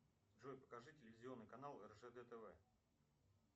джой покажи телевизионный канал ржд тв